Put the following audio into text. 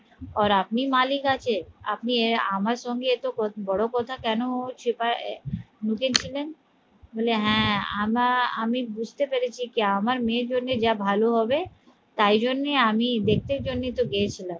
আর আপনি মালিক আছে আপনি আমার সঙ্গে এতো বড় কথা কেন লুকিয়ে ছিলেন বলে হ্যাঁ আমা আমি বুঝতে পেরেছি যে আমার মেয়ের জন্যে যা ভাল হবে তাই জন্যেই আমি দেখতে জন্যই তো গিয়েছিলাম